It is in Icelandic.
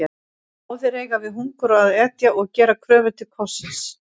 Báðir eiga við hungur að etja og gera kröfu til kossins.